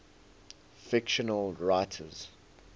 fictional writers